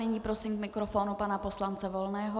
Nyní prosím k mikrofonu pana poslance Volného.